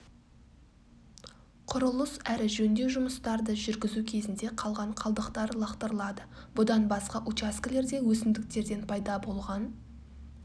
құрылыс әрі жөндеу жұмыстарды жүргізу кезінде қалған қалдықтар лақтырылады бұдан басқа учаскілерде өсімдіктерден пайда болған